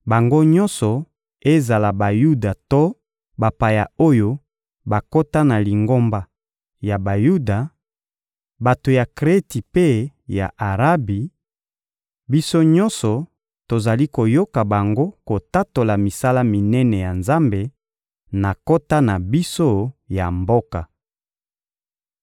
bango nyonso, ezala Bayuda to bapaya oyo bakota na lingomba ya Bayuda: bato ya Kreti mpe ya Arabi, biso nyonso tozali koyoka bango kotatola misala minene ya Nzambe, na nkota na biso ya mboka!»